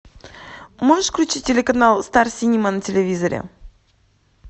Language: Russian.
можешь включить телеканал стар синема на телевизоре